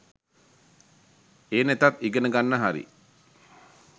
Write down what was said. ඒ නැතත් ඉගෙන ගන්න හරි